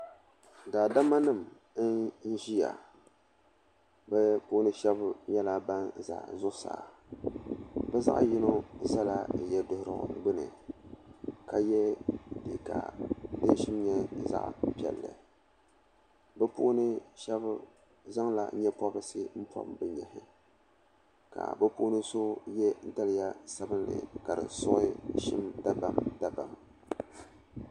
Daadama nim n ziya bi puuni shɛba nyɛla bini za zuɣusaa bi zaɣi yino zala yiɛduhirigu gbuni ka ye liiga dini shim nyɛ zaɣi piɛlli bi puuni shɛba zaŋla yee pɔbirisi pɔbi bi yehi la bi puuni so ye daliya sabinli ka di suɣi zim dabam dabam.